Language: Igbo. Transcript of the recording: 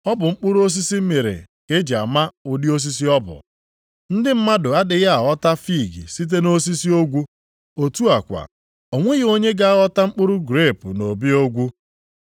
Ọ bụ mkpụrụ osisi mịrị ka e ji ama ụdị osisi ọ bụ. Ndị mmadụ adịghị aghọta fiig site nʼosisi ogwu, otu a kwa o nweghị onye na-aghọta mkpụrụ grepu nʼobi ogwu.